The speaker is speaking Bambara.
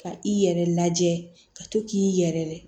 Ka i yɛrɛ lajɛ ka to k'i yɛrɛ